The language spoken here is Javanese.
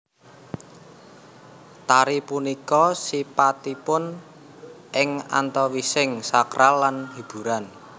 Tari punika sipatipun ing antawising sakral lan hiburan